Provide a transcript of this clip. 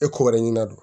E ko wɛrɛ ɲinin a don